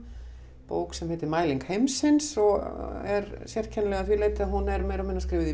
bók sem heitir mæling heimsins og er sérkennileg að því leyti að hún er meira og minna skrifuð í